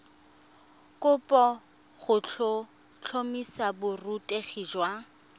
kopo go tlhotlhomisa borutegi jwa